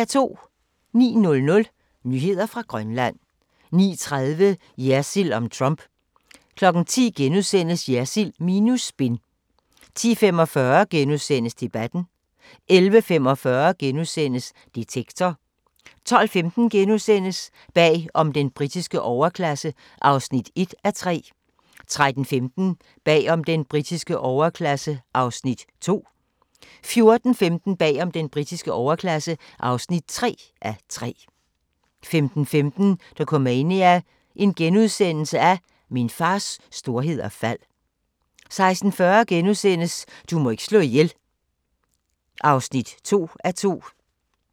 09:00: Nyheder fra Grønland 09:30: Jersild om Trump * 10:00: Jersild minus spin * 10:45: Debatten * 11:45: Detektor * 12:15: Bag om den britiske overklasse (1:3)* 13:15: Bag om den britiske overklasse (2:3)* 14:15: Bag om den britiske overklasse (3:3)* 15:15: Dokumania: Min fars storhed og fald * 16:40: Du må ikke slå ihjel (2:2)*